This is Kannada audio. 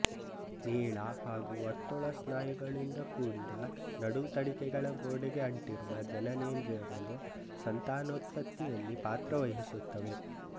ನೀಳ ಹಾಗೂ ವರ್ತುಳ ಸ್ನಾಯುಗಳಿಂದ ಕೂಡಿದ ನಡುತಡಿಕೆಗಳ ಗೋಡೆಗೆ ಅಂಟಿರುವ ಜನನೇಂದ್ರಿಯಗಳು ಸಂತಾನೋತ್ಪತ್ತಿಯಲ್ಲಿ ಪಾತ್ರವಹಿಸುತ್ತವೆ